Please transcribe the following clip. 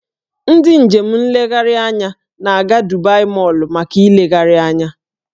Ndị njem nlegharị anya na-aga Dubai Mọl maka ịlegharị anya